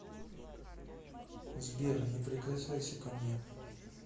сбер не прикасайся ко мне